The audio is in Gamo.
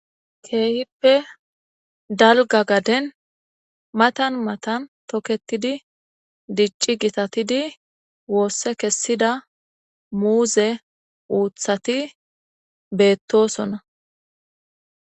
Keehippe dalga gaden matan matan tokketidi dicci gitatidi woosse kessida muuze uuthati beettosona.